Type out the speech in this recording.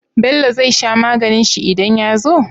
Bello zai sha maganin shi idan yazo?